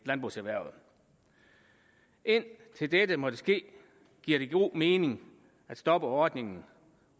landbrugserhvervet indtil dette måtte ske giver det god mening at stoppe ordningen